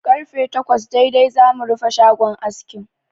Karfe takwas daidai zamu rufe shagon askin.